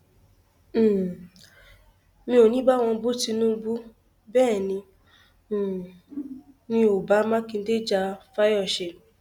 um mi ò ní í bá wọn bu tinubu bẹẹ ni um mi ò bá mákindé ja fáyọsé